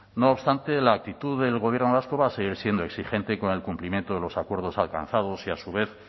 no obstante la actitud del gobierno vasco va a seguir siendo exigente con el cumplimiento de los acuerdos alcanzados y a su vez